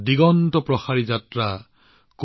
আকাশলৈ মুৰ দাঙিবলৈ